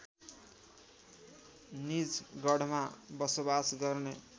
निजगढमा बसोबास गर्ने